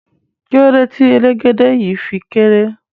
Kilode ti elegede yii fi kere?